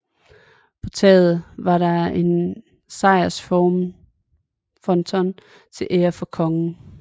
På taget var der en sejrsfronton til ære for kongen